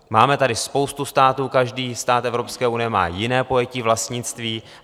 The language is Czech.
Máme tady spoustu států, každý stát Evropské unie má jiné pojetí vlastnictví.